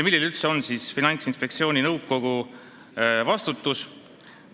Milline on üldse Finantsinspektsiooni nõukogu vastutus?